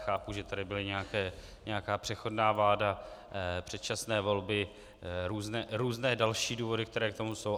Chápu, že tady byla nějaká přechodná vláda, předčasné volby, různé další důvody, které k tomu jsou.